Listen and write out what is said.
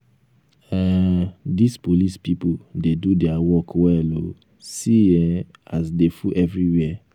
um dis police people dey do their work well oo see um as dey full everywhere